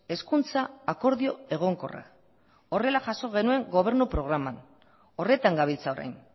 hezkuntza akordio egonkorra horrela jaso genuen gobernu programan horretan gabiltza orain